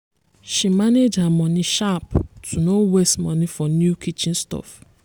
she manage her moni sharp to no waste money for new kitchen stuff.